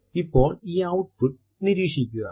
ഇപ്പോൾ ഈ ഔട്ട്പുട്ട് നിരീക്ഷിക്കുക